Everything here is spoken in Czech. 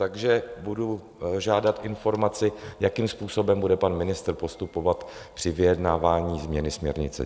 Takže budu žádat informaci, jakým způsobem bude pan ministr postupovat při vyjednávání změny směrnice.